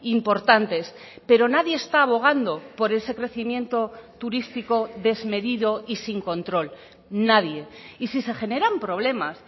importantes pero nadie está abogando por ese crecimiento turístico desmedido y sin control nadie y si se generan problemas